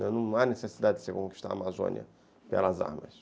Não há necessidade de você conquistar a Amazônia pelas armas.